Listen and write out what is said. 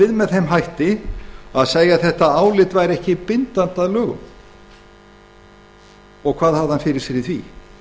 við með þeim hætti að segja að álitið væri ekki bindandi að lögum hvað hafði hann fyrir sér í því